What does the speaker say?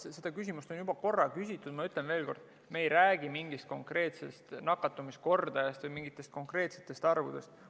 Seda küsimust on juba korra küsitud, ma ütlen veel kord, et me ei räägi mingist konkreetsest nakatumiskordajast või mingitest konkreetsetest arvudest.